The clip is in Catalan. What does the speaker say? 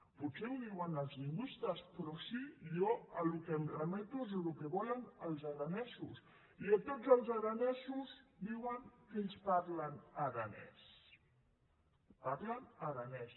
potser ho diuen els lingüistes però sí jo al que em remeto és al que vo·len els aranesos i tots els aranesos diuen que ells par·len aranès parlen aranès